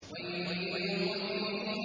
وَيْلٌ لِّلْمُطَفِّفِينَ